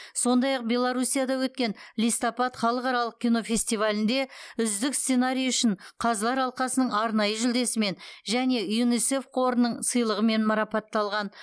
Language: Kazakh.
сондай ақ беларуссияда өткен листопад халықаралық кинофестивалінде үздік сценарий үшін қазылар алқасының арнайы жүлдесімен және юнисеф қорының сыйлығымен марапатталған